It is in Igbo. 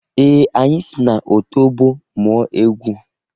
Ee! Anyị si n'otobo mụọ egwu.